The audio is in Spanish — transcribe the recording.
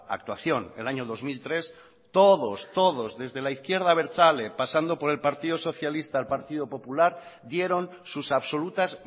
actuación el año dos mil tres todos desde la izquierda abertzale pasando por el partido socialista el partido popular dieron sus absolutas